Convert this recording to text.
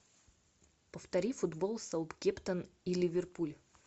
повтори футбол саутгемптон и ливерпуль